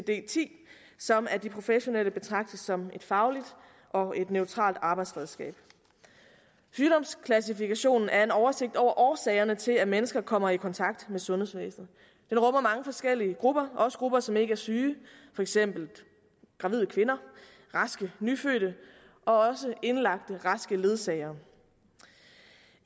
ti som af de professionelle betragtes som et fagligt og neutralt arbejdsredskab sygdomsklassifikationen er en oversigt over årsagerne til at mennesker kommer i kontakt med sundhedsvæsenet den rummer mange forskellige grupper også grupper som ikke er syge for eksempel gravide kvinder raske nyfødte og også indlagte raske ledsagere